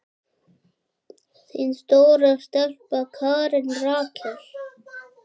Þín stóra stelpa, Karen Rakel.